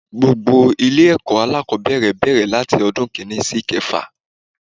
Gbogbo Ilé èkó alákòbéèrè bèrè láti odún kìíní sí ìkefà